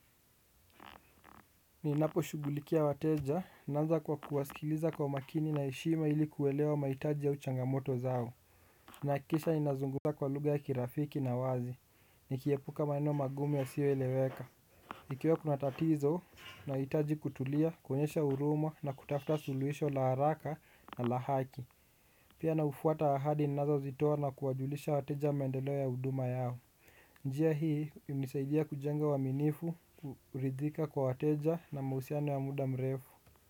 Ninaposhughulikia wateja, naanza kwa kuwasikiliza kwa makini na heshima ili kuelewa mahitaji au changamoto zao. Nahakikisha ninazungumza kwa lugha ya kirafiki na wazi, nikiepuka maeneo magumu yasiyoeleweka. Ikiwa kuna tatizo nahitaji kutulia, kuonyesha huruma na kutafuta suluhisho la haraka na la haki. Pia naufuata ahadi ninazozitoa na kuwajulisha wateja maendeleo ya huduma yao. Njia hii hunisaidia kujenga uwaminifu, kuridhika kwa wateja na mahusiano ya muda mrefu.